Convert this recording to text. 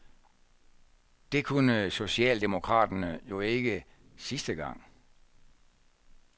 Det kunne socialdemokraterne jo ikke sidste gang.